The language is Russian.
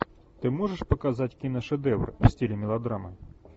ты можешь показать киношедевр в стиле мелодрамы